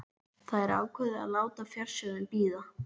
Þær ákváðu að láta fjársjóðinn bíða.